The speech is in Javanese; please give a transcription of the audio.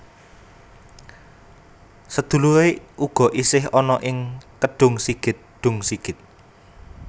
Sedulure ugo ish ana ing Kedungsigit Dungsigit